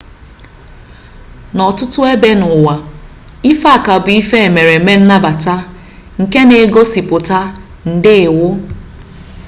n'ọtụtụ ebe n'ụwa ife aka bụ emereme nnabata nke na-egosipụta ndeewo